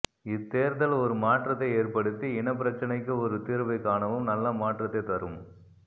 இத்தேர்தல் ஒரு மாற்றத்தை ஏற்படுத்தி இனப்பிரச்சினைக்கு ஒரு தீர்வை காணவும் நல்ல மாற்றத்தை தரும்